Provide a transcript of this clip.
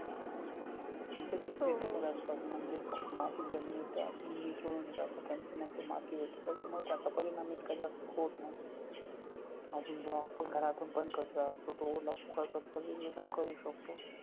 आणि त्या reusable असतात म्हणजेच मातीत जमिनीत त्या मिसळून जातात. त्यांची नंतर माती होते त्याच्यामुळे त्याचा परिणाम इतका जास्त होत नाही अजून आपण घरातून बंद पण कचरा असतो तो ओला-सुका करतो वेगळा करू शकतो.